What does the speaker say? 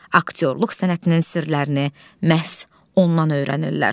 Aktyorluq sənətinin sirlərini məhz ondan öyrənirlər.